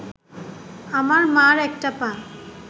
আমার মার একটা পা